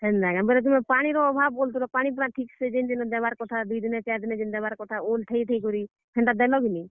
ହେନ୍ତା କେଁ, ବେଲେ ତୁମେ ପାଣି ର ଅଭାବ ବୋଲୁଥିଲ ପାଣି ପୁଣା ଯେନ୍ତା ଦେବାର କଥା, ଓଲ୍ ଥେଇ ଥେଇ କରି ହେନ୍ତା ଦେଲ କିନି?